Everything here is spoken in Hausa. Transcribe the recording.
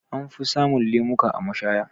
Anfi samun lemuka a mashaya.